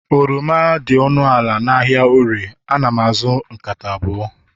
oroma dị ọnụ ala n'ahịa orie, ana m azụ nkata abụọ